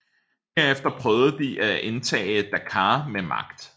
Derefter prøvede de at indtage Dakar med magt